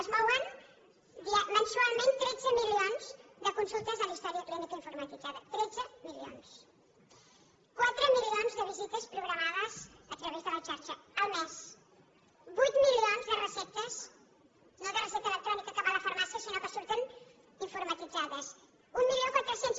es mouen mensualment tretze milions de consultes de la història clínica informatitzada tretze milions quatre milions de visites programades a través de la xarxa al mes vuit milions de receptes no de recepta electrònica que va a la farmàcia sinó que surten informatitzades mil quatre cents